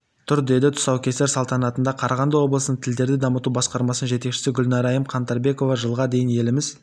тұр деді тұсаукесер салтанатында қарағанды облысының тілдерді дамыту басқармасының жетекшісі гүлнарайым қаңтарбекова жылға дейін еліміз